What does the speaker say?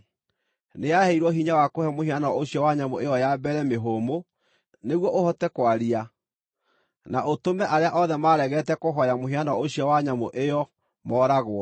Nĩyaheirwo hinya wa kũhe mũhianano ũcio wa nyamũ ĩyo ya mbere mĩhũmũ, nĩguo ũhote kwaria, na ũtũme arĩa othe maaregete kũhooya mũhianano ũcio wa nyamũ ĩyo mooragwo.